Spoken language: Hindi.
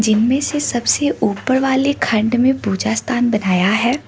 इनमें से सबसे ऊपर वाले खण्ड में पूजा स्थान बनाया है।